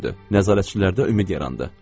Nəzarətçilərdə ümid yarandı.